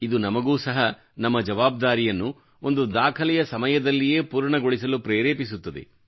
ಇದು ನಮಗೂ ಸಹ ನಮ್ಮ ಜವಾಬ್ದಾರಿಯನ್ನು ಒಂದು ದಾಖಲೆಯ ಸಮಯದಲ್ಲಿಯೇ ಪೂರ್ಣಗೊಳಿಸಲು ಪ್ರೇರೇಪಿಸುತ್ತದೆ